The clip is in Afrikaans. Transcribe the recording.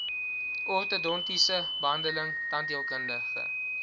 ortodontiese behandeling tandheelkundige